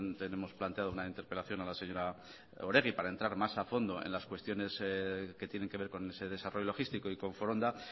tenemos planteado una interpelación a la señora oregi para entrar más a fondo en las cuestiones que tienen que ver con ese desarrollo logístico y con foronda